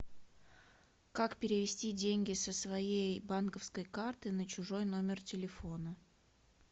как перевести деньги со своей банковской карты на чужой номер телефона